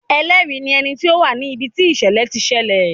Ẹlẹ́rìí ní ẹni tí ó wà ní ibi tí ìṣẹ̀lẹ̀ ti ṣẹlẹ̀.